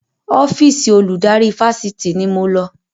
Ọ́fíìsì olùdarí Fáṣitì ni mo lọ